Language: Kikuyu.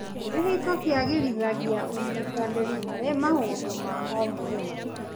Kĩhiko kĩagĩrithagia ũnyitanĩri harĩ maũndũ ma o mũthenya.